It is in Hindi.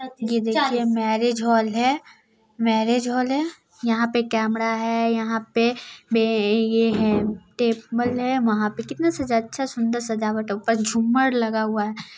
ये देखिए मैरिज हॉल है मैरिज हॉल है यहाँ पे केमरा है यहाँ पे बे ऐ है टेबल है वहाँ पे कितना सजा अच्छा सुंदर सजावट ऊपर झूमर लगा हुआ है ।